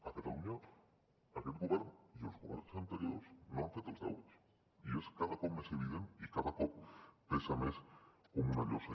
a catalunya aquest govern i els governs anteriors no han fet els deures i és cada cop més evident i cada cop pesa més com una llosa